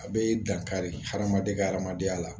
A bɛ dankari hadamaden ka hadamadenya la